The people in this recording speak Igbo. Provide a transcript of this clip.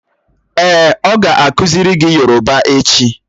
Èè, o ga akuziri gi yoroba echi.